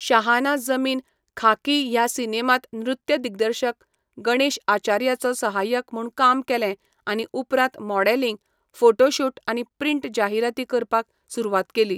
शाहान जमीन, खाकी ह्या सिनेमांत नृत्य दिग्दर्शक गणेश आचार्याचो सहाय्यक म्हणून काम केलें आनी उपरांत मॉडेलिंग, फोटो शूट आनी प्रिंट जाहिराती करपाक सुरवात केली.